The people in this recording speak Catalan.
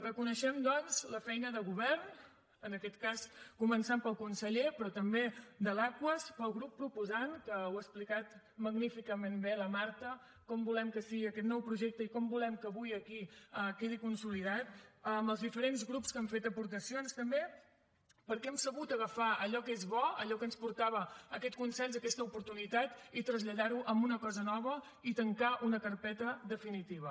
reconeixem doncs la feina del govern en aquest cas començant pel conseller però també de l’aquas del grup proposant que ho ha explicat magníficament bé la marta com volem que sigui aquest nou projecte i com volem que avui aquí quedi consolidat amb els diferents grups que han fet aportacions també perquè hem sabut agafar allò que és bo allò que ens portava aquest consens aquesta oportunitat i traslladar ho en una cosa nova i tancar una carpeta definitiva